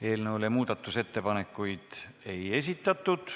Eelnõu kohta muudatusettepanekuid ei esitatud.